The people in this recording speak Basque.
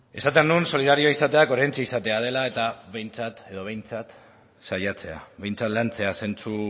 esaten nuen solidario izateak oraintxe izatea dela edo behintzat saiatzea behintzat lantzea zentzu